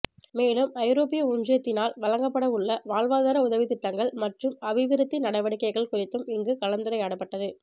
மேலும் ஐரோப்பிய ஒன்றியத்தினால் வழங்கப்படவுள்ள வாழ்வாதார உதவித்திட்டங்கள் மற்றும் அபிவிருத்தி நடவடிக்கைகள் குறித்தும் இங்கு கலந்துரையாடப்பட்டது